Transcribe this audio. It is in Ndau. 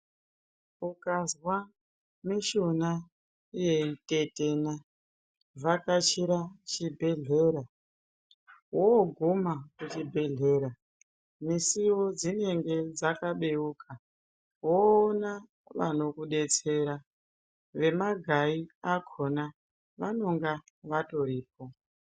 Ukazwa mushuna yeitetena vhakachira chibhehlera woguma misiwo dzinenge dzakabeuka woona vanokudetsera vemagai akona vanenge vatoripo.